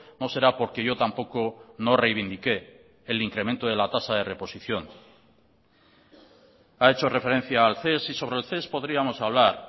no será porque yo tampoco no reivindiqué el incremento de la tasa de reposición ha hecho referencia al ces y sobre el ces podríamos hablar